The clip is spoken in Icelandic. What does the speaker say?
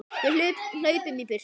Við hlaupum í burtu.